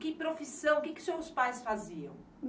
Que profissão, o que os seus pais faziam?